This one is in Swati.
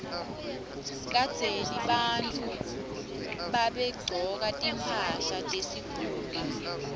kadzeni bantfu babegcoka timphahla tesikhumba